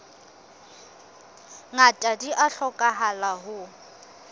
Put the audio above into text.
ngata di a hlokahala ho